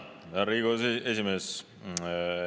Tänan, härra Riigikogu esimees!